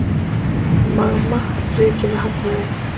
Magma rekið með hagnaði